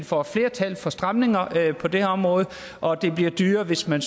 får flertal for stramninger på det her område og at det bliver dyrere hvis man